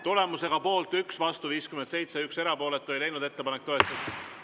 Tulemusega poolt 1, vastu 57 ja erapooletuid 1, ei leidnud ettepanek toetust.